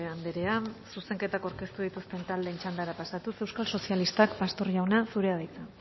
andrea zuzenketak aurkeztu dituzten taldeen txandara pasatuz euskal sozialistak pastor jauna zurea da hitza